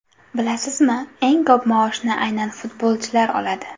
Bilasizmi, eng ko‘p maoshni aynan futbolchilar oladi.